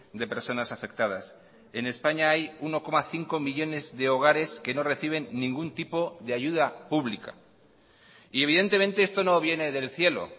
de personas afectadas en españa hay uno coma cinco millónes de hogares que no reciben ningún tipo de ayuda pública y evidentemente esto no viene del cielo